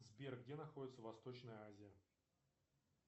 сбер где находится восточная азия